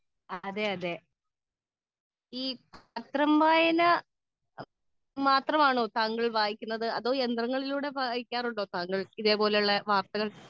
speaker 2 ഈ പത്രം വായന മാത്രമാണോ താങ്കൾ വായിക്കുന്നത് അതോ യന്ത്രങ്ങളിലൂടെ വായിക്കാറുണ്ടോ ഇതുപോലത്തെ വാർത്തകൾ